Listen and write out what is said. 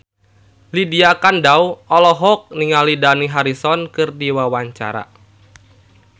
Lydia Kandou olohok ningali Dani Harrison keur diwawancara